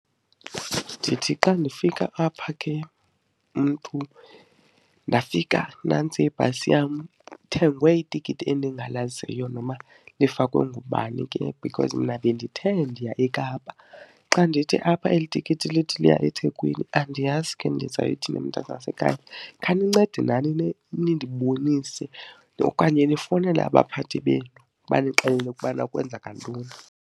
Ndithi xa ndifika apha ke umntu ndafika nantsi ibhasi yam kuthengwe itikiti endingalaziyo noba lifakwe ngubani ke because mna bendithe ndiya eKapa. Xa ndithi apha eli tikiti lithi liya eThekwini, andiyazi ke ndizayithini mntanasekhaya. Khanincede nani nindibonise okanye nifowunele abaphathi benu banixelele ukubana kwenzeka ntoni.